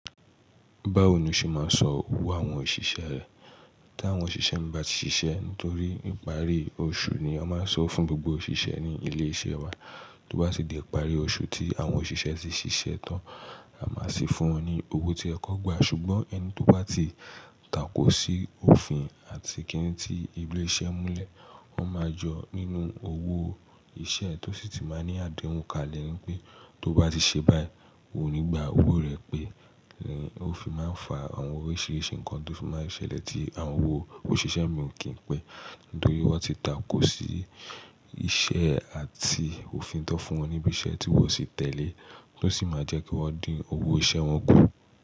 Bawo lo ṣe ma n san owo àwọn osisẹ tí àwọn òṣìṣẹ́ mi bá ti ṣiṣẹ́ torí ìparí oṣù ni a máa ń sanwo fún gbogbo òṣìṣẹ́ ní ilé iṣẹ́ wa. Tó bá ti di ìparí oṣù tí àwọn òṣìṣẹ́ ti ṣiṣẹ́ tán, a máa sì fún wọn ní owó tí o yẹ kan gba. Ṣùgbọ́n ẹni tó bá ti takò sí òfin àti kíni tí ilé iṣẹ́ múlẹ̀, wọn máa jọ nínú owó iṣẹ́ tó sì ti máa ní àdéhùn kalẹ̀ wípé tó bá ti ṣe báyìí, o ní gbà owó rẹ̀ pé òfin máa ń fa àwọn oríṣiríṣi nǹkan tó ti máa ń ṣẹlẹ̀ tí àwọn owó òṣìṣẹ́ mi ò kí n pẹ́ nítorí wọ́n ti takò sí iṣẹ́ àti òfin tan fún wọn níbi iṣẹ́ tí wọ́n o sì tẹ̀lé, to sì máa jẹ́ kí wọ́n dín owó iṣẹ́ wọn kù.